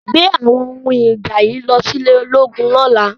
Gbé àwọn ohun ìjà yìí lọ sí ilé ológun lọ́la!